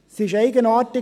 Es ist eigenartig.